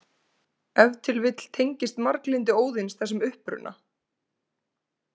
Ef til vill tengist marglyndi Óðins þessum uppruna.